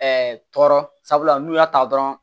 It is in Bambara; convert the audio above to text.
tɔɔrɔ sabula n'u y'a ta dɔrɔn